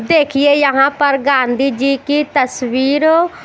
देखिये यहा पर गांधी जी की तस्वीर--